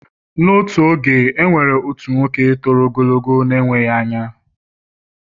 N’otu oge, e nwere otu nwoke toro ogologo na-enweghị anya